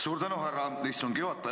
Suur tänu, härra istungi juhataja!